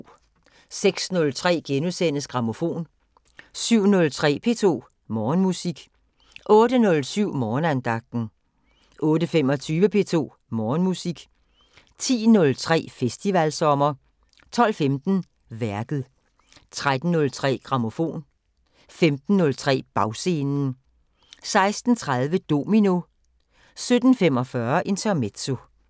06:03: Grammofon * 07:03: P2 Morgenmusik 08:07: Morgenandagten 08:25: P2 Morgenmusik 10:03: Festivalsommer 12:15: Værket 13:03: Grammofon 15:03: Bagscenen 16:30: Domino 17:45: Intermezzo